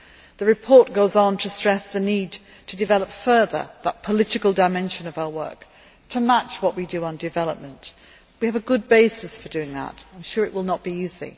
The report goes on to stress the need to develop further the political dimension of our work, to match what we do on development. We have a good basis for doing that, though I am sure it will not be easy.